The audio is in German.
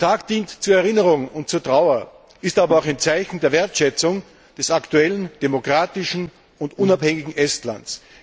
Der Tag dient zur Erinnerung und zur Trauer, ist aber auch ein Zeichen der Wertschätzung des aktuellen demokratischen und unabhängigen Estlands.